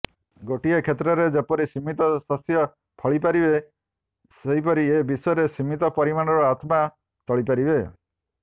ଗୋଟିଏ କ୍ଷେତରେ ଯେପରି ସୀମିତ ଶସ୍ୟ ଫଳିପାରିବେ ସେପରି ଏ ବିଶ୍ବରେ ସୀମିତ ପରିମାଣର ଆତ୍ମା ଚଳିପାରିବେ